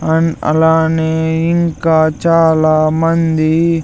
and అలానే ఇంకా చాలా మంది--